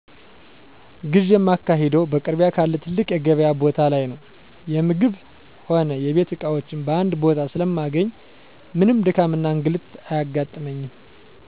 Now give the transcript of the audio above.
ግዢ የማካሂደው በአቅራቢያ ካለ ትልቅ የገቢያ ቦታ ላይ ነው። የምግብ ሆነ የቤት እቃዎችን በአንድ ቦታ ስለማገኝ ምንም ድካምና እንግልት አያጋጥመኝ።